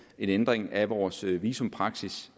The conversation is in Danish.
en ændring af vores visumpraksis